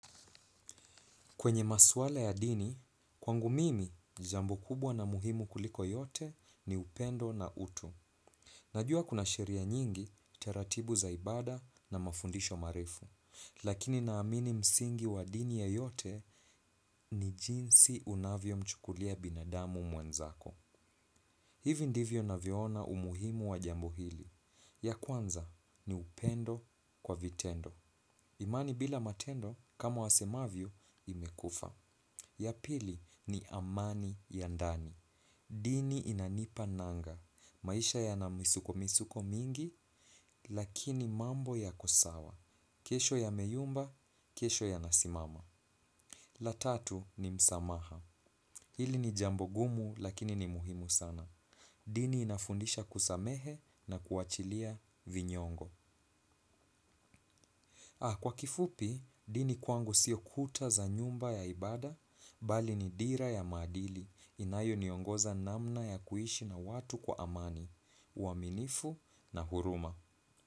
Kwenye maswala ya dini, kwangu mimi, jambo kubwa na muhimu kuliko yote ni upendo na utu. Najua kuna sheria nyingi, taratibu za ibada na mafundisho marefu. Lakini naamini msingi wa dini yoyote ni jinsi unavyo mchukulia binadamu mwenzako. Hivi ndivyo navyoona umuhimu wa jambo hili. Ya kwanza ni upendo kwa vitendo. Imani bila matendo kama wasemavyo imekufa. Ya pili ni amani ya ndani. Dini inanipa nanga. Maisha yana misuko misuko mingi, lakini mambo yako sawa. Kesho ya meyumba, kesho ya nasimama. La tatu ni msamaha. Hili ni jambo gumu lakini ni muhimu sana. Dini inafundisha kusamehe na kuachilia vinyongo. Kwa kifupi, dini kwangu sio kuta za nyumba ya ibada, bali ni dira ya maadili inayo niongoza namna ya kuishi na watu kwa amani, uaminifu na huruma.